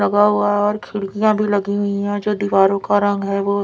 दबा हुआ है और खिडकिय भी लगी हुई है जो दीवारों का रंग है वो--